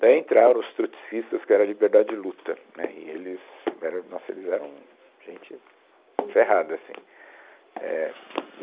Daí entraram os trotskistas, que eram a Liberdade de Luta, né, e eles, eram, nossa, eles eram, gente ferrada assim, é, e